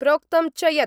प्रोक्तं च यत्